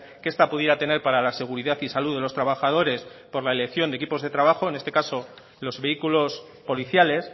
que esta pudiera tener para la seguridad y salud de los trabajadores por la elección de equipos de trabajo en este caso los vehículos policiales